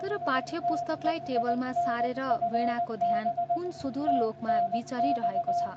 तर पाठ्य पुस्तकलाई टेबलमा सारेर वीणाको ध्यान कुन सुदूर लोकमा विचरिरहेको छ।